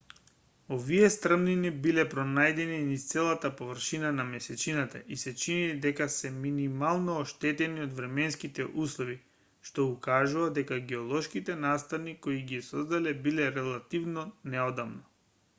овие стрмнини биле пронајдени низ целата површина на месечината и се чини дека се минимално оштетени од временските услови што укажува дека геолошките настани кои ги создале биле релативно неодамна